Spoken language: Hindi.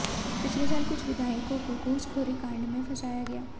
पिछले साल कुछ विधायकों को घुसखोरी कांड में फंसाया गया